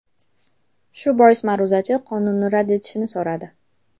Shu bois ma’ruzachi qonunni rad etishni so‘radi.